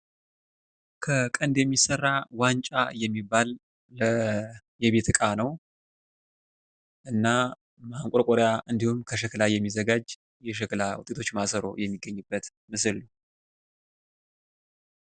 ከቀንድ የሚሰራ ዋንጫ የሚባል የቤት እቃ ነው። እና ማንቆርቆርያ እንዲሁም ከሸክላ የሚዘጋጅ የሸክላ ውጤቶች ማሰሮ የሚገኝበት ምስል ነው።